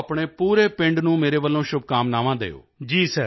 ਵੇਖੋ ਆਪਣੇ ਪੂਰੇ ਪਿੰਡ ਨੂੰ ਮੇਰੇ ਵੱਲੋਂ ਸ਼ੁਭਕਾਮਨਾਵਾਂ ਦਿਓ